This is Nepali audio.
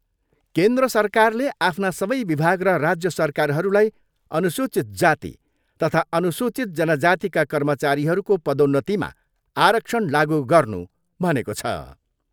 केन्द्र सरकारले आफ्ना सबै विभाग र राज्य सरकारहरूलाई अनुसूचित जाति तथा अनुसूचित जनजातिका कर्मचारीहरूको पदोन्नतिमा आरक्षण लागु गर्नू भनेको छ।